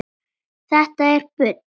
Þetta er bull.